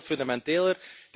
Dit gaat veel fundamenteler.